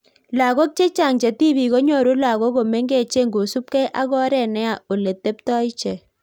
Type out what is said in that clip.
Lagok chechang che tibik konyoru lagok komnegench kosuup gei ak oreet neya ole teptai icheck.